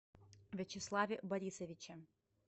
вячеславе борисовиче